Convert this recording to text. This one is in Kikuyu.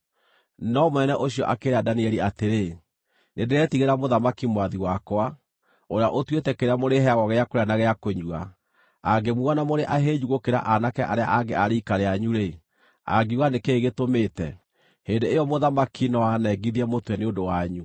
no mũnene ũcio akĩĩra Danieli atĩrĩ, “Nĩndĩretigĩra mũthamaki mwathi wakwa, ũrĩa ũtuĩte kĩrĩa mũrĩheagwo gĩa kũrĩa na gĩa kũnyua. Aangĩmuona mũrĩ ahĩnju gũkĩra aanake arĩa angĩ a riika rĩanyu-rĩ, angiuga nĩ kĩĩ gĩtũmĩte? Hĩndĩ ĩyo mũthamaki no aanengithie mũtwe nĩ ũndũ wanyu.”